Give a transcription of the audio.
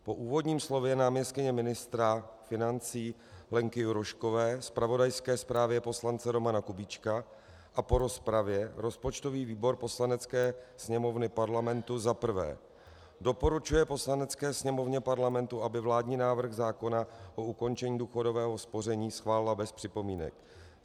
Po úvodním slově náměstkyně ministra financí Lenky Juroškové, zpravodajské zprávě poslance Romana Kubíčka a po rozpravě rozpočtový výbor Poslanecké sněmovny Parlamentu za prvé doporučuje Poslanecké sněmovně Parlamentu, aby vládní návrh zákona o ukončení důchodového spoření schválila bez připomínek;